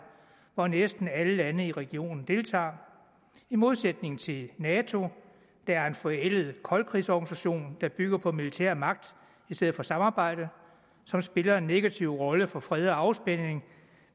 hvor næsten alle lande i regionen deltager i modsætning til nato der er en forældet koldkrigsorganisation der bygger på militærmagt i stedet for samarbejde som spiller en negativ rolle for fred og afspænding